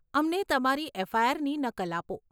અમને તમારી એફઆઈઆરની નકલ આપો.